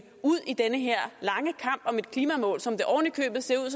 ud i den her lange kamp om et klimamål som det oven i købet ser ud